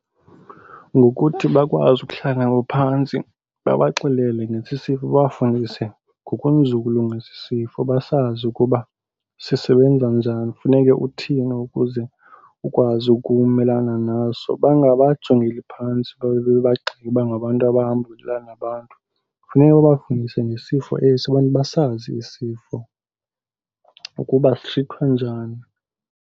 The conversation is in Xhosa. Ngokuthi bakwazi ukuhlala ngaphantsi babaxelele ngesi sifo, babafundise ngokunzulu ngesi isifo basazi ukuba sisebenza njani, funeke uthini ukuze ukwazi ukumelana naso. Bangabajongeli phantsi babe bebagxeka uba ngabantu abahamba belala nabantu. Kuuneka babafundise ngesifo esi, abantu basazi esi sifo ukuba sitrithwa njani.